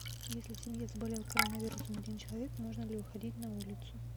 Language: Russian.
если в семье заболел коронавирусом один человек можно ли выходить на улицу